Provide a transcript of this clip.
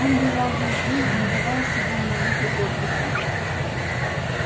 он бежал весь день не давая себе ни минуты отдыха